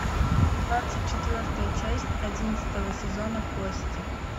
двадцать четвертая часть одиннадцатого сезона кости